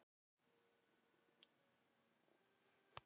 Tór, hvernig verður veðrið á morgun?